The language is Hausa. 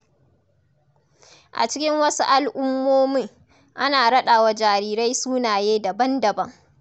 A cikin wasu al’ummomin, ana raɗa wa jarirai sunaye daban-daban.